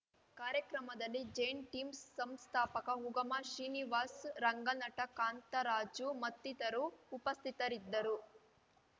ಕಾರ್ಯಕ್ರಮದಲ್ಲಿ Zen Team ಸಂಸ್ಥಾಪಕ ಉಗಮ ಶ್ರೀನಿವಾಸ್ ರಂಗನಟ ಕಾಂತರಾಜು ಮತ್ತಿತರು ಉಪಸ್ಥಿತರಿದ್ದರು